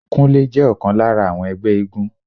Kúnlé jẹ́ ọ̀kan lára àwọn ẹgbẹ́ éégún